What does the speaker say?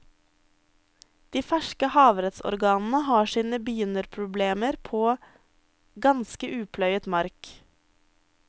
De ferske havrettsorganene har sine begynnerproblemer på ganske upløyet mark.